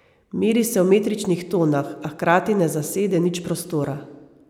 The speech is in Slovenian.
Meri se v metričnih tonah, a hkrati ne zasede nič prostora.